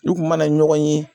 u kun mana na ɲɔgɔn ye.